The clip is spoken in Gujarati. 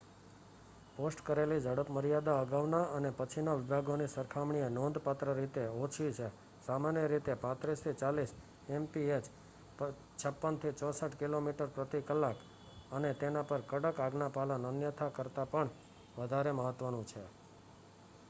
પોસ્ટ કરેલી ઝડપમર્યાદા અગાઉના અને પછીના વિભાગોની સરખામણીએ નોંધપાત્ર રીતે ઓછી છે - સામાન્ય રીતે 35-40 એમપીએચ 56-64 કિમી/કલાક અને તેના પર કડક આજ્ઞાપાલન અન્યથા કરતાં પણ વધારે મહત્ત્વનું છે